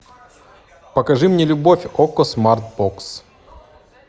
покажи мне любовь окко смарт бокс